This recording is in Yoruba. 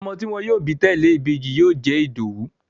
Ọmọ tí wọ́n yóò bí tẹ̀lẹ́ ìbejì yóò jẹ́ Ìdòwú